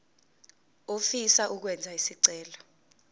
ofisa ukwenza isicelo